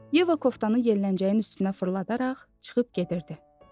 Yeva koftanı yelləncəyin üstünə fırladaraq çıxıb gedirdi.